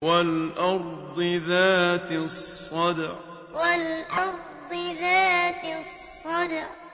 وَالْأَرْضِ ذَاتِ الصَّدْعِ وَالْأَرْضِ ذَاتِ الصَّدْعِ